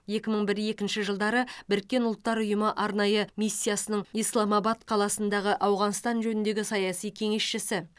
екі мың бір екінші жылдары біріккен ұлттар ұйымы арнайы миссиясының исламабад қаласындағы ауғанстан жөніндегі саяси кеңесшісі